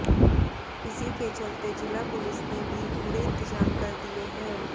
इसी के चलते जिला पुलिस ने भी पूरे इंतजाम कर दिए हैं